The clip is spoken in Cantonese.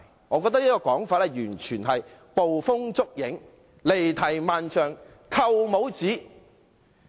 我覺得這種說法完全是捕風捉影、離題萬丈、扣帽子。